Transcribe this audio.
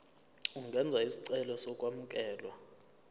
ungenza isicelo sokwamukelwa